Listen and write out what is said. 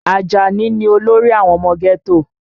Ajani ni olórí àwọn ọmọ ghetto